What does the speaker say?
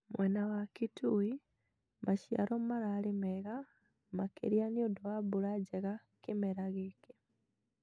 Mwena wa kitui maciaro mararĩ mega makĩria niundũ wa mbura njega kĩmera gĩkĩ